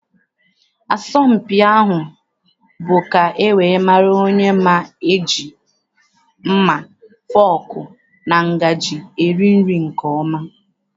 Asọmpi ahụ bụ ka e wee mara onye ma eji mma, fọọkụ na ngajị eri nri nke ọma.